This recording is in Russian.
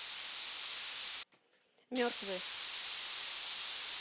мертвые